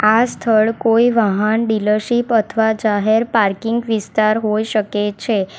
આ સ્થળ કોઈ વાહન ડીલરશીપ અથવા જાહેર પાર્કિંગ વિસ્તાર હોઈ શકે છે.